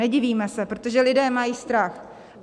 Nedivíme se, protože lidé mají strach.